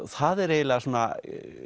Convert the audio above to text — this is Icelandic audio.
það er eiginlega svona